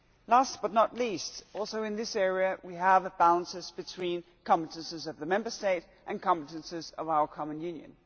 Last but not least, also in this area, we have imbalances between the competences of the Member State and the competences of our common Union.